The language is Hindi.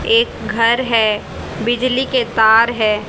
एक घर है बिजली के तार है।